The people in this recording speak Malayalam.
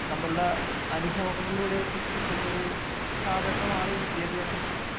നമ്മളുടെ അനുഭവങ്ങളിലൂടെയൊക്കെ കിട്ടുന്ന ഒരു സാധനമാണ് ഈ വിദ്യാഭ്യാസം എന്ന് പറയുന്നത്.